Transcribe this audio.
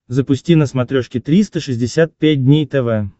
запусти на смотрешке триста шестьдесят пять дней тв